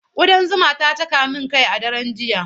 Ƙudan zuma ta caka min kai a daren jiya.